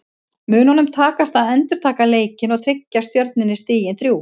Mun honum takast að endurtaka leikinn og tryggja Stjörnunni stigin þrjú?